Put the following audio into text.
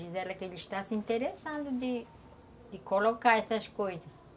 Diz ela que ele está se interessando de, de colocar essas coisas.